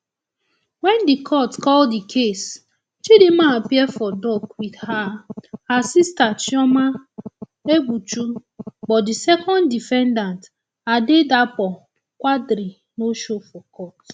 wen di court call di case chidinma appear for dock wit her her sister chioma egbuchu but di second defendant adedapo quadri no show for court